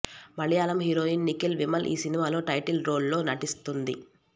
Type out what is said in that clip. Malayalam heroine Nikhila Vimal ఈ సినిమాలో title role లో నటిస్తోంది